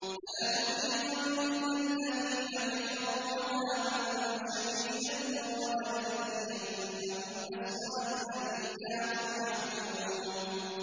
فَلَنُذِيقَنَّ الَّذِينَ كَفَرُوا عَذَابًا شَدِيدًا وَلَنَجْزِيَنَّهُمْ أَسْوَأَ الَّذِي كَانُوا يَعْمَلُونَ